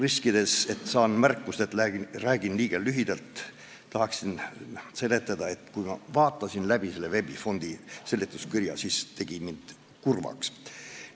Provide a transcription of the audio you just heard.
Riskides, et saan märkuse, et räägin liiga lühidalt, tahaksin öelda, et kui ma vaatasin läbi selle VEB Fondi eelnõu seletuskirja, siis see tegi mind kurvaks.